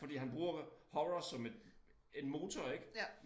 Fordi han bruger horror som et en motor ik